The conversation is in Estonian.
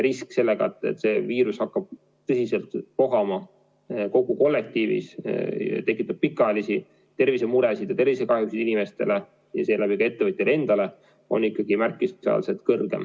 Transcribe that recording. Risk, et see viirus hakkab tõsiselt vohama kogu kollektiivis, tekitab pikaajalisi tervisemuresid ja tervisekahjusid inimestele ja seeläbi ka ettevõtjale endale, on ikkagi märkimisväärselt suur.